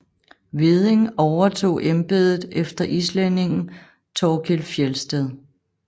Hveding overtog embedet efter islændingen Thorkild Fjeldsted